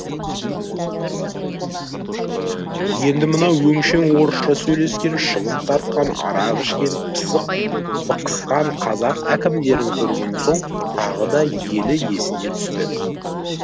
енді мынау өңшең орысша сөйлескен шылым тартқан арақ ішкен пысық бықысқан қазақ әкімдерін көрген соң тағы да елі есіне түсті